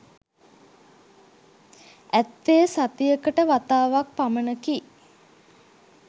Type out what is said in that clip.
ඇත්තේ සතියකට වතාවක් පමණකි.